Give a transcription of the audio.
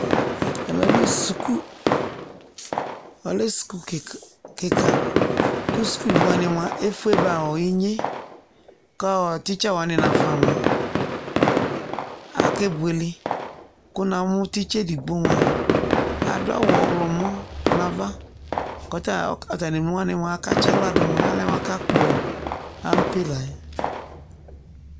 Ɛmɛ bɩ suku, ɔlɛ suku kɩk kɩka : kʋ sukuvi wanɩ mʋa efue ba ɔ inye ;k'ɔɔ tsɩtsa wanɩ nafa mʋa , ake buele Kʋ namʋ tsɩtsa edigbo mʋa , adʋ awʋ ɔɣlɔmɔ n'ava , k'ɔta ata n'emlo wanɩ mʋa akatsɩ aɣladʋ ; alɛ mʋ akakpɔ ampe la yɛ